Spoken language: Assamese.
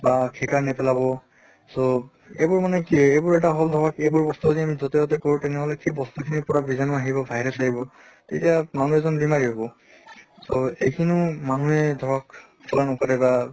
বা খেকাৰ নেপেলাব so এইবোৰ মানে কি এইবোৰ এটা হʼল ধৰক এইবোৰ বস্তু যদি আমি যʼতে তʼতে কৰোঁ তেনেহʼলে সেই বস্তু খিনিৰ পৰা বীজাণু আহিব virus আহিব, তেতিয়া মানুহ এজন বেমাৰি হʼব। so এইখিনি মানুহে ধৰক পুৰা নকৰে বা